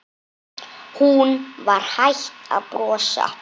Hún var hætt að brosa.